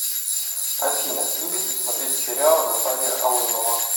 афина любит ли смотреть сериалы наталья алымова